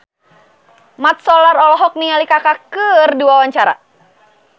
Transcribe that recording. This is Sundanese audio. Mat Solar olohok ningali Kaka keur diwawancara